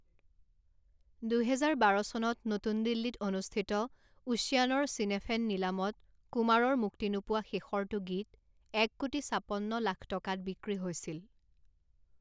দুহেজাৰ বাৰ চনত নতুন দিল্লীত অনুষ্ঠিত ওছিয়ানৰ চিনেফেন নিলামত কুমাৰৰ মুক্তি নোপোৱা শেষৰটো গীত এক কোটি ছাপন্ন লাখ টকাত বিক্ৰী হৈছিল।